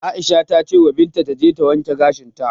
Aisha ta cewa Binta taje ta wanke gashinta.